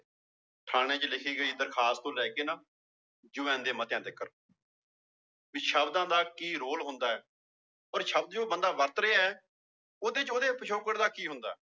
ਥਾਣੇ ਚ ਲਿਖੀ ਗਈ ਦਰਖਾਸ ਤੋਂ ਲੈ ਕੇ ਨਾ ਯੂ ਐਨ ਦੇ ਮਤਿਆਂ ਤੀਕਰ ਵੀ ਸ਼ਬਦਾਂ ਦਾ ਕੀ ਰੋਲ ਹੁੰਦਾ ਹੈ ਪਰ ਸ਼ਬਦ ਜੋ ਬੰਦਾ ਵਰਤ ਰਿਹਾ ਹੈ ਉਹਦੇ ਚ ਉਹਦੇ ਪਿਛੋਕੜ ਦਾ ਕੀ ਹੁੰਦਾ ਹੈ